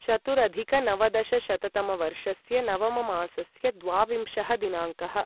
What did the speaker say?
चतुरधिकनवदशशततमवर्षस्य नवममासस्य द्वाविंशः दिनाङ्कः